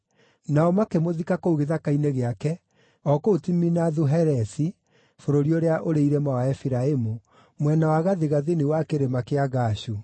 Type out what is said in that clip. Nao makĩmũthika kũu gĩthaka-inĩ gĩake o kũu Timinathu-Heresi bũrũri ũrĩa ũrĩ irĩma wa Efiraimu, mwena wa gathigathini wa Kĩrĩma kĩa Gaashu.